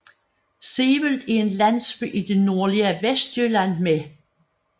Sevel er en landsby i det nordlige Vestjylland med